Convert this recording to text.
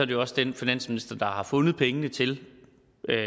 det også den finansminister der har fundet pengene til